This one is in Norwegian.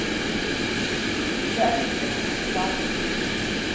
Det er like tungt i dag.